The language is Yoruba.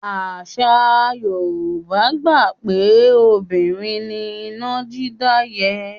Àṣà Yorùbá gbà pé obìnrin ni iná dídá yẹ́.